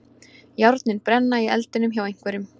Járnin brenna í eldinum hjá einhverjum